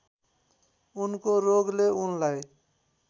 उनको रोगले उनलाई